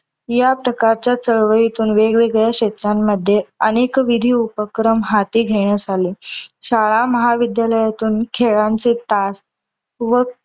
या प्रकारच्या चळवळीतून वेगवेगळ्या क्षेत्रानमध्ये अनेक विधी उपक्रम हाती घेण्यात आले. शाळा महाविद्यालयातून खेळांचे तास व